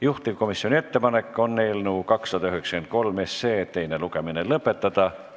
Juhtivkomisjoni ettepanek on eelnõu 293 teine lugemine lõpetada.